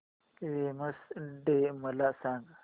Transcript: women's day मला सांग